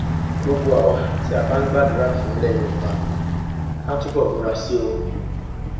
gbogbo àwa tí a a bá ń gbàdúrà fún ilẹ yorùbá ká túbọ múra sí i o